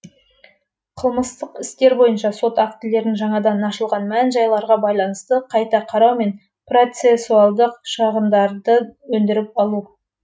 қылмыстық істер бойынша сот актілерін жаңадан ашылған мән жайларға байланысты қайта қарау мен процесуалдық шығындарды өндіріп алу